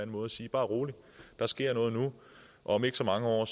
måde og sige bare rolig der sker noget nu om ikke så mange år